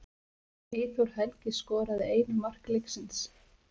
Eyþór Helgi skoraði eina mark leiksins